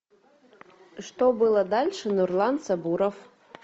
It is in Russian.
что было дальше нурлан сабуров